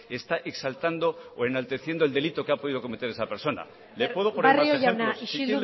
está exaltando o enalteciendo el delito que ha podido cometer esa persona barrio jauna isildu mesedez le puedo poner más ejemplos si